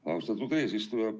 Austatud eesistuja!